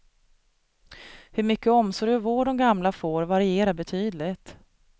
Hur mycket omsorg och vård de gamla får varierar betydligt.